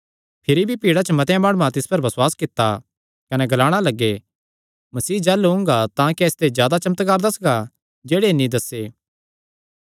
भिरी भी भीड़ा च मतेआं माणुआं तिस पर बसुआस कित्ता कने ग्लाणा लग्गे मसीह जाह़लू ओंगा तां क्या इसते जादा चमत्कार दस्सगा जेह्ड़े इन्हीं दस्से